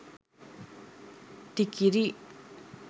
tikiri